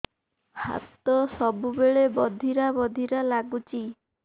ହାତ ସବୁବେଳେ ବଧିରା ବଧିରା ଲାଗୁଚି